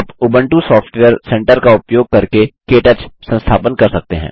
आप Ubuntu software centre का इस्तेमाल करके के टच संस्थापन कर सकते हैं